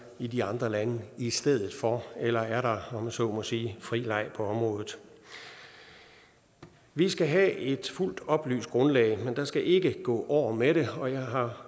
i de andre lande i stedet for eller er der om man så må sige fri leg på området vi skal have et fuldt oplyst grundlag men der skal ikke gå år med det og jeg har